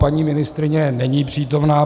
Paní ministryně není přítomna.